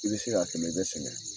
I bɛ se k'a kɛ , i bɛ sɛgɛn.